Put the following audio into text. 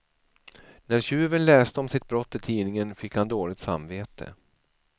När tjuven läste om sitt brott i tidningen fick han dåligt samvete.